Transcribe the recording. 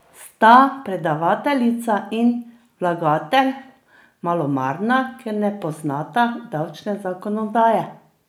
Sta predavateljica in vlagatelj malomarna, ker ne poznata davčne zakonodaje?